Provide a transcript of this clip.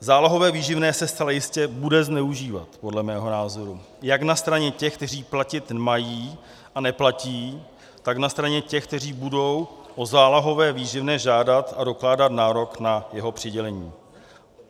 Zálohové výživné se zcela jistě bude zneužívat, podle mého názoru, jak na straně těch, kteří platit mají a neplatí, tak na straně těch, kteří budou o zálohové výživné žádat a dokládat nárok na jeho přidělení.